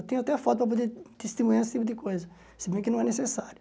Eu tenho até foto para poder testemunhar esse tipo de coisa, se bem que não é necessário.